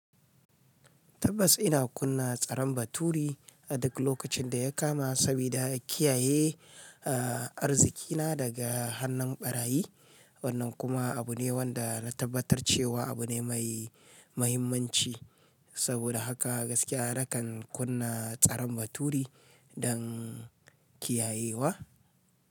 Tabbas ina kunna tsaron baturi a duk lokacin da ya kama sabida kiyaye arzikina daga hannun barayi. Wannan kuma abu ne wanda na tabbatar cewa abu ne mai mahimmanci. Saboda haka gaskiya nakan kunna tsaron baturi don kiyayewa.